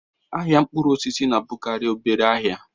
Ahịa mkpụrụ osisi na-abụkarị obere ahịa